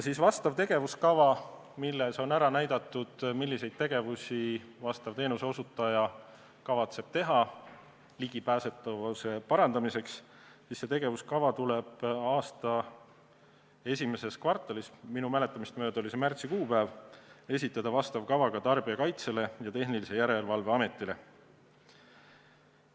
Tegevuskava, milles on ära näidatud, milliseid tegevusi teenuseosutaja kavatseb teha ligipääsetavuse parandamiseks, tuleb aasta esimeses kvartalis esitada Tarbijakaitse ja Tehnilise Järelevalve Ametile.